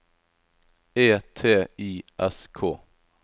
E T I S K